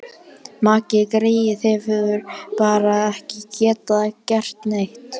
Maggi greyið hefur bara ekki getað gert neitt.